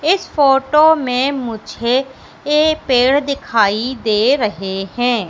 इस फोटो में मुझे एक पेड़ दिखाई दे रहे हैं।